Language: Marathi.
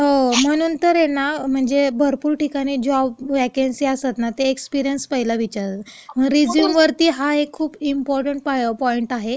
हो, म्हणून तर आहे ना, म्हणजे, भरपूर ठिकाणी असं जॉब वेकन्सी असतात ना, ते एक्सपिरिअन्स पहिला विचारतात. रिझ्यूमवरती हा एक खूप इम्पॉर्टंट पॉइंट आहे....